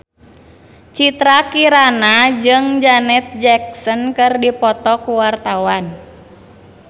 Citra Kirana jeung Janet Jackson keur dipoto ku wartawan